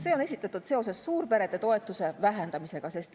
See on esitatud seoses suurperede toetuse vähendamisega.